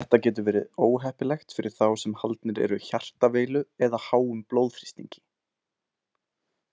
Þetta getur verið óheppilegt fyrir þá sem haldnir eru hjartaveilu eða háum blóðþrýstingi.